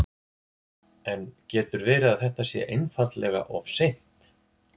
En getur verið að þetta sé einfaldlega of seint?